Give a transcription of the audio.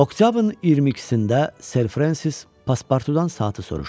Oktyabrın 22-də Ser Frensis Paspartudan saatı soruşdu.